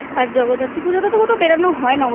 আর জগদ্ধাত্রী পুজো তে বেরোনো হয় না